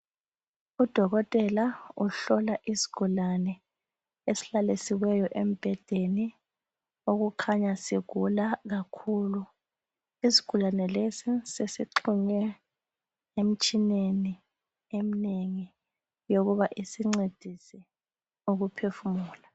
Udokotela uhlola isigulane esihlalisiweyo embedeni . Okukhanya sigula kakhulu isigulane lesi sesi xhunywe emtshineni emnengi yokuba isincesise ukuphefumula.